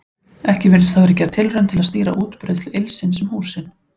Ekki virðist hafa verið gerð tilraun til að stýra útbreiðslu ylsins um húsin.